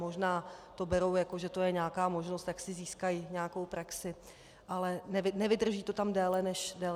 Možná to berou, jako že je to nějaká možnost, jak si získají nějakou praxi, ale nevydrží to tam déle než rok.